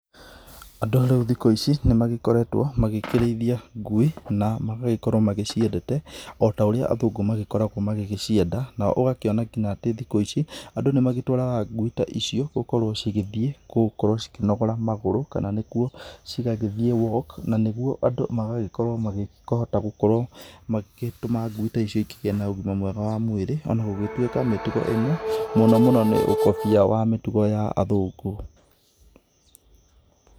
Andũ rĩu thikũ ici nĩmagĩkoretwo magĩkĩrĩithia ngui na magagĩkorwo maciendete ota ũrĩa athungu magĩkoragwo magĩgĩcienda. Nao ũgakĩona atĩ kinya thikũ ici, andũ nĩmagĩtwaraga ngui ta icio gũkorwo cigĩthiĩ gũkorwo cikĩnogora magũrũ kana nĩkuo cigagĩthiĩ walk, na nĩguo andũ magagĩkorwo magĩkĩhota gũkorwo magĩtũma ngui ta icio igĩkorwo na ũgima mwega wa mwĩrĩ. Ona gũtuĩka mĩtugo ĩno mũno mũno nĩũkobia wa mĩtugo ya athũngũ.